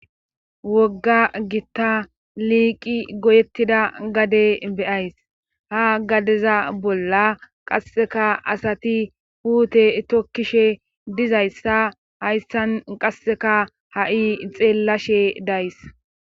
wogga gitta liiqi goyettida gade beyays ha gadeza bolla qasseka asati puute tokkishe dizayssa hayssan qasseka ha7i xeellashe days